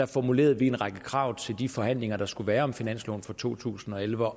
formulerede vi en række krav til de forhandlinger der skulle være om finansloven for to tusind og elleve